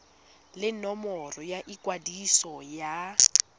le nomoro ya ikwadiso ya